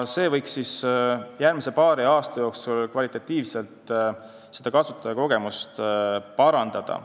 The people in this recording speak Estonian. See võiks järgmise paari aasta jooksul kasutajakogemust kvalitatiivselt parandada.